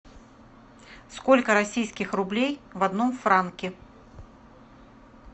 сколько российских рублей в одном франке